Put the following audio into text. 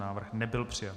Návrh nebyl přijat.